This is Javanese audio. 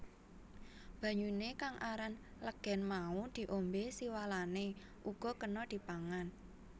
Banyuné kang aran legèn mau diombé siwalané uga kéna dipangan